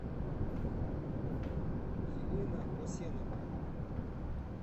елена хосеновна